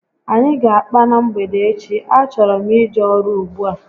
Anyị ga akpa na mgbede echi, a chọrọ m ije ọrụ ùgbúà